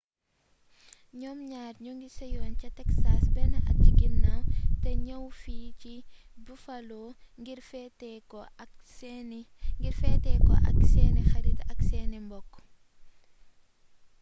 ñoom ñaar ñoo ngi seyoon ca texas benn at ci ginnaaw te ñëw fii ci buffalo ngir feete ko ak seeni xarit ak seeni mbokk